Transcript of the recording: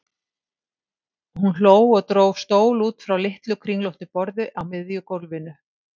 Hún hló og dró stól út frá litlu, kringlóttu borði á miðju gólfinu.